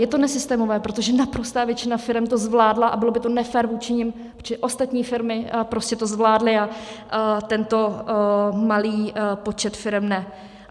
Je to nesystémové, protože naprostá většina firem to zvládla a bylo by to nefér vůči nim, čili ostatní firmy prostě to zvládly a tento malý počet firem ne.